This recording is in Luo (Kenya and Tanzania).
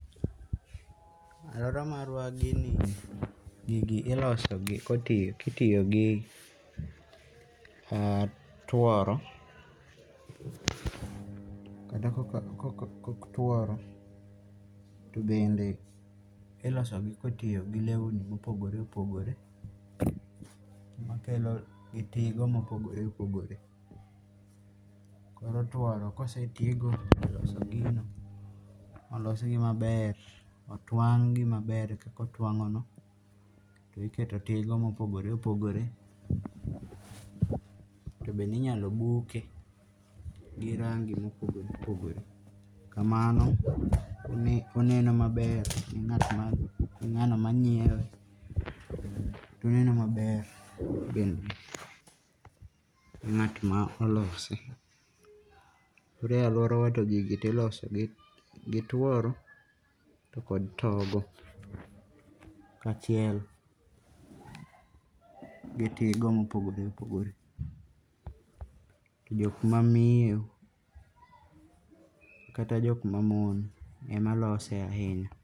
Aluora marwa gini, gigi iloso gi othith itiyo gi kata tworo kata kok tworo to bende iloso gi kitiyo gi lewni mopogore opogore gi tigo mopogore opogore. Koro tworo kose tigo e loso gino molosgi maber mo twang'gi maber kaka otwang' no to iketo tigo mopogore opogore. To bende inyalo buke gi rangi mopogore opogore. Kamano oneno maber ne ng'at ma ne ng'ano manyiewe. To oneno maber kendone ng'at ma olose. Koro e aluora wa to gigi tiloso gi tworo to kod togo ka achiel gi tigo mopogore opogore. To jokma miyo kata jokma mon ema lose ahinya.